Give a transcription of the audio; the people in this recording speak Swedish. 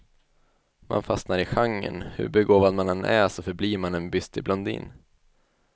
Man fastnar i genren, hur begåvad man än är så förblir man en bystig blondin.